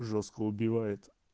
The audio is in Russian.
жёстко убивает